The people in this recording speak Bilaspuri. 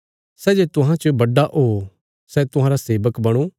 सै जे तुहां च बड्डा ओ सै तुहांरा सेबक बणो